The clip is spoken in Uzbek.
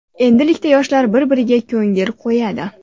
Endilikda yoshlar bir-biriga ko‘ngil qo‘yadi.